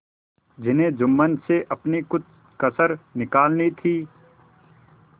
जिन्हें जुम्मन से अपनी कुछ कसर निकालनी थी